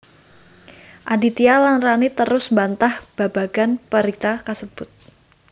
Aditya lan Rani terus mbantah babagan berita kasebut